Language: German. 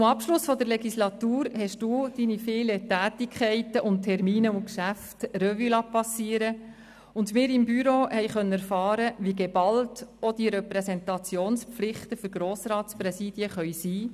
Zum Abschluss der Legislatur haben Sie Ihre vielen Tätigkeiten, Termine und Geschäfte Revue passieren lassen und wir vom Büro konnten erfahren, wie geballt auch die Repräsentationspflichten für Grossratspräsidien sein können.